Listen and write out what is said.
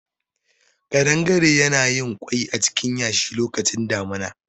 Ƙadangare yana yin kwai acikin yashi lokacin damuna